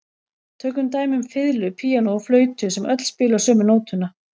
Tökum dæmi um fiðlu, píanó og flautu sem öll spila sömu nótuna.